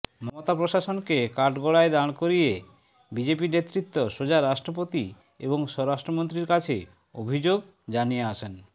মমতা প্রশাসনকে কাঠগড়ায় দাঁড় করিয়ে বিজেপি নেতৃত্ব সোজা রাষ্ট্রপতি এবং স্বরাষ্ট্রমন্ত্রীর কাছে অভিযোগ জানিয়ে আসেন